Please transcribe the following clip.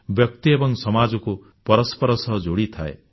ବ୍ୟକ୍ତି ଏବଂ ସମାଜକୁ ପରସ୍ପର ସହ ଯୋଡ଼ିଥାଏ